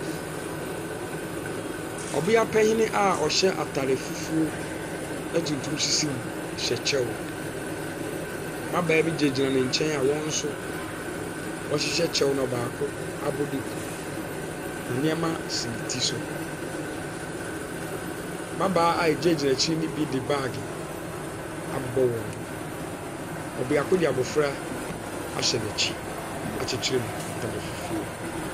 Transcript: Ɔbia panyin a ɔhyɛ ataade fufuo na tuntum sisi mu hyɛ kyɛw. Mmabaa bi gyinagyina ne kyɛn a wɔnso wɔ hyehyɛ kyew na baako abɔ duku. Nnoɔma si ne ti so. Mmabaa a egyina gyina ɛkyire no mo bi de bag abobɔ wɔn ho. Ɔbaako de abrɔfo ahyɛ nɛkyi.